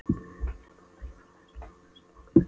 Japan vilja fræðast um án þess að nokkur viti.